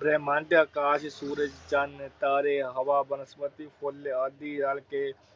ਬਰਿਹਮੰਡੀਆ ਕਾਰਜ ਸੂਰਜ, ਚੰਨ, ਤਾਰੇ, ਹਵਾ, ਬਨਸਪਤੀ, ਫੁੱਲ ਆਦਿ ਰਲ ਕੇ